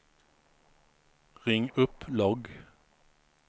ring upp logg